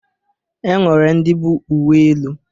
E nwere ndị bụ uwe elu